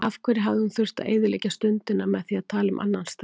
Af hverju hafði hún þurft að eyðileggja stundina með því að tala um annan strák.